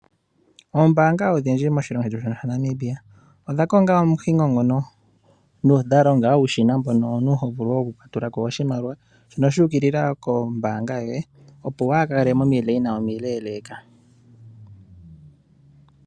Ombaanga odhindji moshilongo shino Namibia odha konga omuhingo ngono dha longa uushina mbono omuntu ho vulu okutula ko oshimaliwa shono shu ukilila kombaanga yoye opo waa kale momikweyo omileeleeka.